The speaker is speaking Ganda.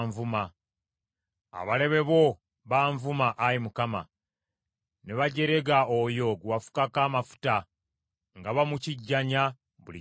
abalabe bo banvuma, Ayi Mukama ; ne bajerega oyo gwe wafukako amafuta, nga bamukijjanya buli gy’alaga.